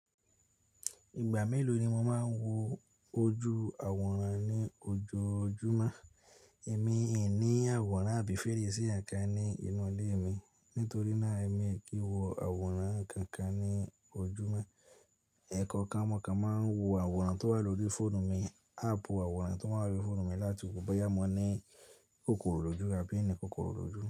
Ìgbà mélòó ni mo máa ń wo ojú àwòrán ní ojoojúmọ́? Èmi ò ní àwòrán àbí fèrèsé àǹkà ní inú ilé mi nítorí náà èmi kì í wo àwòrán kànkan ní ojúmọ́. Ẹ̀kọ́ kan mo kan mon wò aworán tó wà lórí fóònù mi, áàpù àwòrán tó wà lórí fóònù mi láti wo bo yá mọ ní kòkòrò lójú àbí èmi kòkòrò lójú.